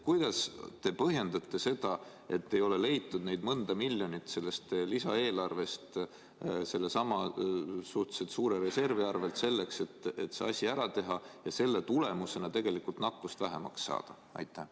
Kuidas te põhjendate seda, et ei ole leitud neid mõnda miljonit selles lisaeelarves sellesama suhteliselt suure reservi arvel selleks, et see asi ära teha ja selle tulemusena tegelikult nakkust vähemaks saada?